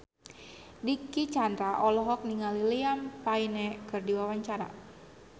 Dicky Chandra olohok ningali Liam Payne keur diwawancara